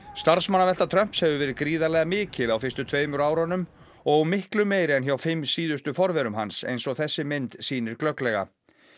starfsmannavelta Trumps hefur verið gríðarlega mikil á fyrstu tveimur árunum og miklu meiri en hjá fimm síðustu forverum hans eins og þessi mynd sýnir glögglega